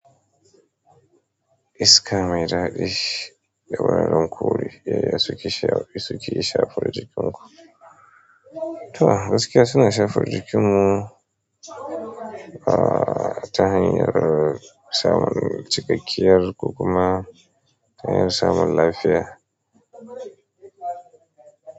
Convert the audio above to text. Iska mai daɗi da wuraren ƙuri yaya suke shafar jikinku. Toh gaskiya suna shafa jikinmu, aaa tanan aka samun cikakkiyar ko kuma ta samun lafiya.